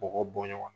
Bɔgɔ bɔnɲɔgɔn